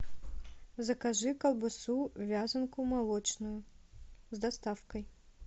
закажи колбасу вязанку молочную с доставкой